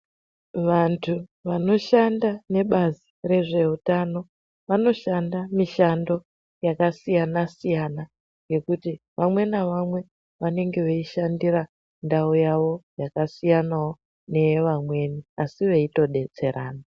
Vantu vanoshanda nebazi rezveutano vanoshanda mishando yakasiyana-siyana yekuti vamwe navamwe vanenge veishandira ndau yavo yakasiyanawo nevamweni asi veitodetserana.